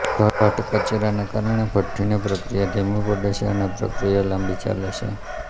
ઘટ્ટ કચરાના કારણે ભઠ્ઠીની પ્રક્રિયા ધીમી પડે છે અને પ્રક્રિયા લાંબી ચાલે છે